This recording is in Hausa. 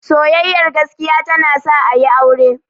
Soyayyar gaskiya ta na sa a yi aure